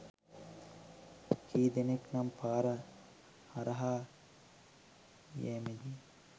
කී දෙනෙක් නම් පාර හරහා යෑමේදි